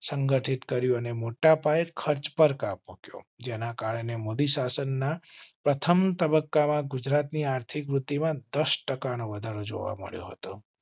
સંગઠિત કર્યું અને મોટા પાયે ખર્ચ પર કાપ મુક્યો જેના કારણે મોદી શાસનના પ્રથમ તબક્કા માં ગુજરાત ની આર્થિક વૃદ્ધિ માં દસ ટકા નો વધારો જોવા મળ્યો હતો